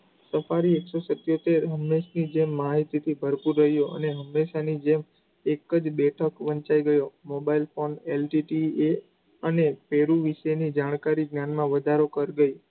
તો ફરી એકસો સીત્યોતેર માહિતીથી ભરપુર રહ્યો અને જેમ એકજ બેઠા વંચાઈ ગયો mobile phoneSTD અને વિશેની જાણકારી જાણવા વધારો કરશે.